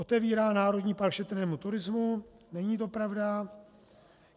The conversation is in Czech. Otevírá národní park šetrnému turismu - není to pravda.